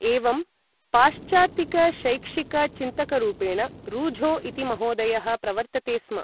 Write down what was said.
एवं पाश्चात्तिकशैक्षिकचिन्तकरूपेण रूझो इति महोदयः प्रवर्तते स्म ।